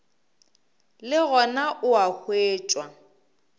le gona o a hwetšwa